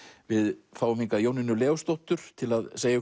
við fáum hingað Jónínu Leósdóttur til að segja